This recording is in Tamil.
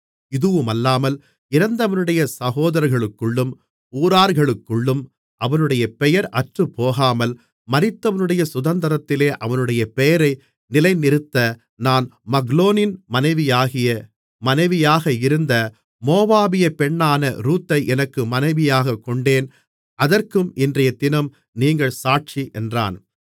இதுவுமல்லாமல் இறந்தவனுடைய சகோதரர்களுக்குள்ளும் ஊரார்களுக்குள்ளும் அவனுடைய பெயர் அற்றுப்போகாமல் மரித்தவனுடைய சுதந்திரத்திலே அவனுடைய பெயரை நிலைநிறுத்த நான் மக்லோனின் மனைவியாக இருந்த மோவாபியப் பெண்ணான ரூத்தை எனக்கு மனைவியாகக் கொண்டேன் அதற்கும் இன்றையதினம் நீங்கள் சாட்சி என்றான்